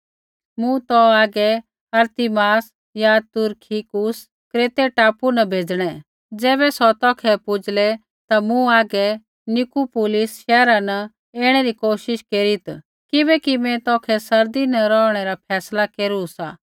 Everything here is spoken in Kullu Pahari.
मूँ तौ हागै अरतिमास या तूरखिकुसा बै क्रेतै टापू न भेजणै ज़ैबै सौ तौखै पूजला ता तू मुँह हागै निकुपुलिस शैहरा न ऐणै री कोशिश केरीत् किबैकि मैं तौखै सर्दी न रौहणै रा फैसला केरू सा